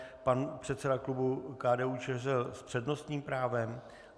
Pan předseda klubu KDU-ČSL s přednostním právem?